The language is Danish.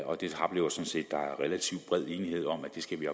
relativt bred enighed om at det skal vi